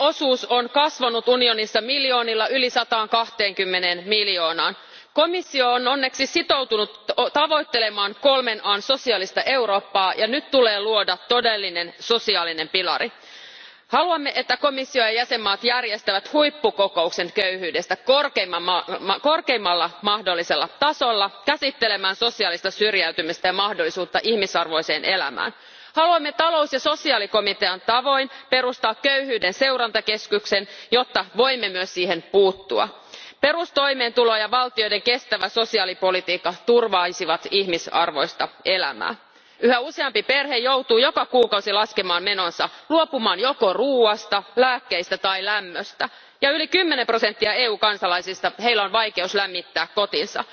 Arvoisa puhemies, kenestä puhumme, kun puhumme köyhistä kotitalouksista? Köyhien osuus on kasvanut unionissa miljoonilla yli 120een miljoonaan. Komissio on onneksi sitoutunut tavoittelemaan kolmen An sosiaalista Eurooppaa, ja nyt tulee luoda todellinen sosiaalinen pilari. Haluamme, että komissio ja jäsenmaat järjestävät huippukokouksen köyhyydestä korkeimmalla mahdollisella tasolla käsittelemään sosiaalista syrjäytymistä ja mahdollisuutta ihmisarvoiseen elämään. Haluamme talous ja sosiaalikomitean tavoin perustaa köyhyyden seurantakeskuksen, jotta voimme myös siihen puuttua. Perustoimeentulo ja valtioiden kestävä sosiaalipolitiikka turvaisivat ihmisarvoista elämää. Yhä useampi perhe joutuu joka kuukausi laskemaan menonsa, luopumaan joko ruoasta, lääkkeistä tai lämmöstä, ja yli kymmenellä prosentilla EUn kansalaisista on vaikeuksia lämmittää kotinsa.